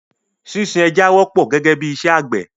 Sísin ẹja wọ́pọ̀ gẹ́gẹ́ bí i iṣẹ́ àgbẹ̀.